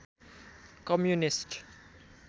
communist